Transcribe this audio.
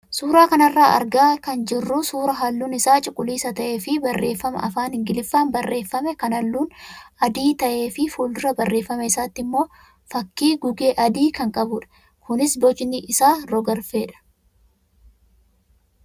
Suuraa kanarraa kan argaa jirru suuraa halluun isaa cuquliisa ta'ee fi barreeffama afaan ingiliffaan barreeffame kan halluun adii ta'ee fi fuuldura barreeffama isaatti immoo fakkii gugee adii kan qabudha. Kunis bocni isaa rog-arfeedha.